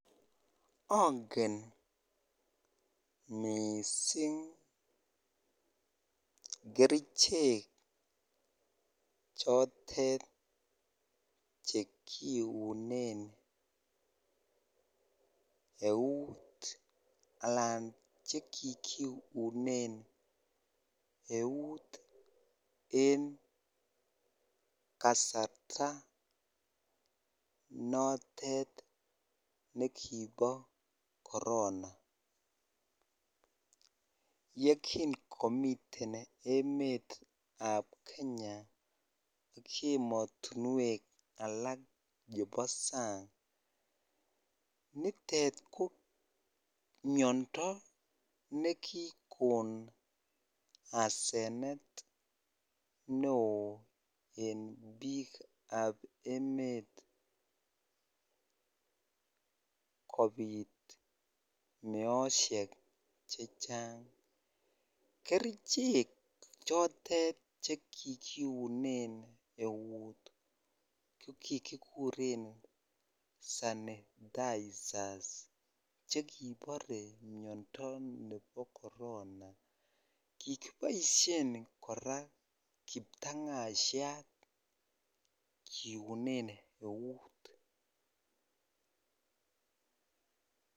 Angen missing kerichek chotet chekiunen eut alan chekikiunen eut en kasarta notet nekibo korona, chekingomiten emetab kenya ak emotinywek chebo sang nitet ko miando nekikon asenet ne oo en biikab emet kobit meosiek chechang, kerichek chotet cheki kiunen eut chekikibore Sanitizers chekibore miando ne bo korona kikiboisien kora kiptang'asiat kiunen eut.